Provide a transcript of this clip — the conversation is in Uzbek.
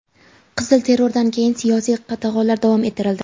Qizil terrordan keyin siyosiy qatag‘onlar davom ettirildi.